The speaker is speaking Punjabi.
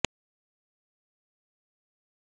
ਜਵਾਹਰ ਲਾਲ ਨਹਿਰੂ ਦੇਸ਼ ਦੇ ਪਹਿਲੇ ਪ੍ਰਧਾਨ ਮੰਤਰੀ ਬਣੇ